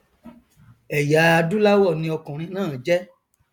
ẹyà adúláwọ ni ọkùnrin náà jẹ